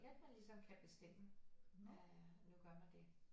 Kan bestemme at du gør man det